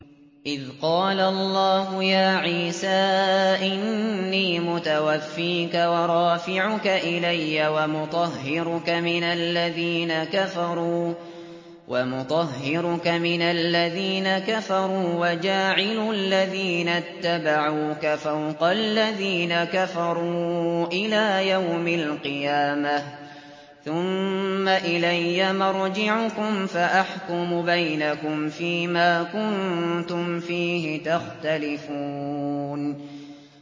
إِذْ قَالَ اللَّهُ يَا عِيسَىٰ إِنِّي مُتَوَفِّيكَ وَرَافِعُكَ إِلَيَّ وَمُطَهِّرُكَ مِنَ الَّذِينَ كَفَرُوا وَجَاعِلُ الَّذِينَ اتَّبَعُوكَ فَوْقَ الَّذِينَ كَفَرُوا إِلَىٰ يَوْمِ الْقِيَامَةِ ۖ ثُمَّ إِلَيَّ مَرْجِعُكُمْ فَأَحْكُمُ بَيْنَكُمْ فِيمَا كُنتُمْ فِيهِ تَخْتَلِفُونَ